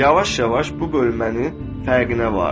Yavaş-yavaş bu bölünmənin fərqinə vardım.